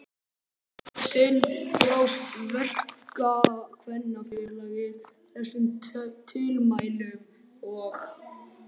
Eitt sinn brást Verkakvennafélagið þessum tilmælum og